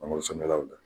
Mangoro sɛnɛlaw la